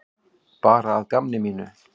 Bara að gamni mínu.